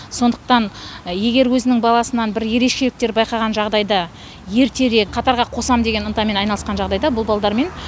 сондықтан егер өзінің баласынан бір ерекшеліктер байқаған жағдайда ертерек қатарға қосам деген ынтамен айналысқан жағдайда бұл балалармен